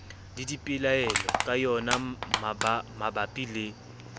le dipelaelo ka yonamabapi le